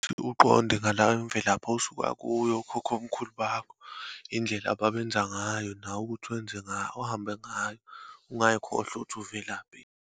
Ukuthi uqonde ngala imvelaphi osuka kuyo okhokhomkhulu bakho, indlela ababenza ngayo nawe ukuthi wenze ngayo, uhambe ngayo. Ungayikhohlwa ukuthi uvelaphi.